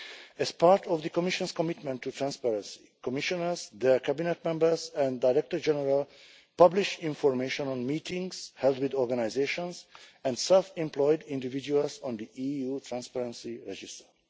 As part of the Commission's commitment to transparency, the Commissioners, their Cabinet members and Directors-General publish information on meetings held with organisations and self employed individuals on the EU Transparency Register.